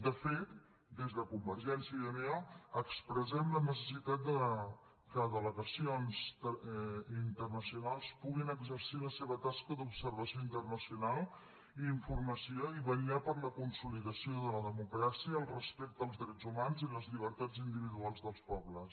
de fet des de convergència i unió expressem la necessitat que delegacions internacionals puguin exercir la seva tasca d’observació internacional i informació i vetllar per la consolidació de la democràcia el respecte als drets humans i les llibertats individuals dels pobles